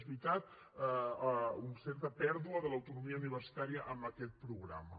és veritat una certa pèrdua de l’autonomia universitària amb aquest programa